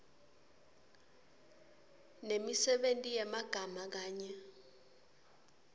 nemisebenti yemagama kanye